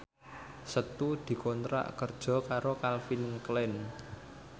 Setu dikontrak kerja karo Calvin Klein